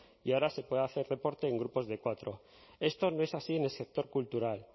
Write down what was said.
y ahora se puede hacer deporte en grupos de cuatro esto no es así en el sector cultural